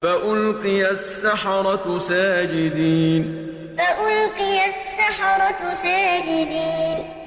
فَأُلْقِيَ السَّحَرَةُ سَاجِدِينَ فَأُلْقِيَ السَّحَرَةُ سَاجِدِينَ